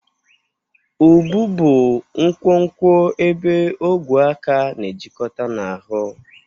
Ubu bụ nkwonkwo ebe ogwe aka na-ejikọta na ahụ.